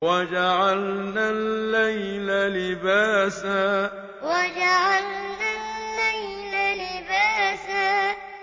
وَجَعَلْنَا اللَّيْلَ لِبَاسًا وَجَعَلْنَا اللَّيْلَ لِبَاسًا